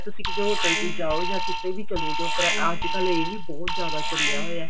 ਤੁਸੀਂ ਕਿਸੇ hotel ਚ ਜਾਓ ਜਾਂ ਕਿਤੇ ਵੀ ਚਲੇ ਜਾਓ ਪਰ ਅੱਜਕਲ ਇਹ ਵੀ ਬਹੁਤ ਜਿਆਦਾ ਚੱਲਿਆ ਹੋਇਆ